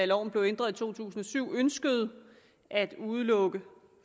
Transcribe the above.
loven blev ændret i to tusind og syv der ønskede at udelukke